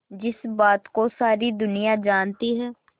जिस बात को सारी दुनिया जानती है